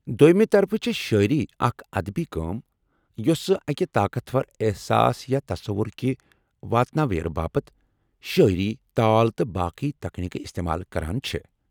دوٚیمہ طرفہٕ چھےٚ شاعری اکھ ادبی کٲم یۄسہِ اکہِ طاقتور احساس یا تصور كہِ واتناویرٕ باپت شٲیری ، تال تہٕ باقی تكنیكہٕ استعمال کران چھے٘ ۔